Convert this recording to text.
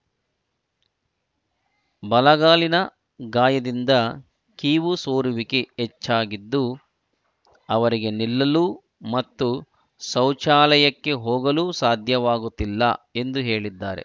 ಬಲಗಾಲಿನ ಗಾಯದಿಂದ ಕೀವು ಸೋರುವಿಕೆ ಹೆಚ್ಚಾಗಿದ್ದು ಅವರಿಗೆ ನಿಲ್ಲಲು ಮತ್ತು ಶೌಚಾಲಯಕ್ಕೆ ಹೋಗಲು ಸಾಧ್ಯವಾಗುತ್ತಿಲ್ಲ ಎಂದು ಹೇಳಿದ್ದಾರೆ